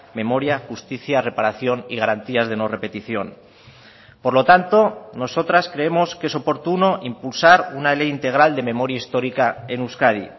memoria justicia reparación y garantías de no repetición por lo tanto nosotras creemos que es oportuno impulsar una ley integral de memoria histórica en euskadi